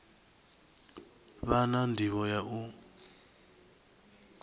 vha na ndivho ya u